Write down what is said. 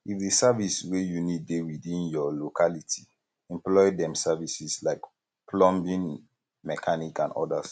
if di service wey you need dey within your locality employ dem services like plumbing mechanic and odas